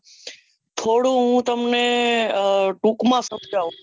થોડું હું તમને ટૂંક માં સમજાઉં